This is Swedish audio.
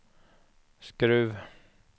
Skruv